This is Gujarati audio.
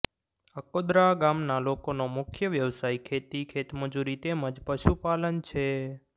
અકોદરા ગામના લોકોનો મુખ્ય વ્યવસાય ખેતી ખેતમજૂરી તેમ જ પશુપાલન છે